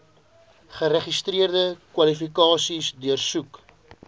geregistreerde kwalifikasies deursoek